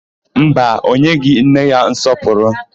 Mba, o nyeghị nne ya nsọpụrụ.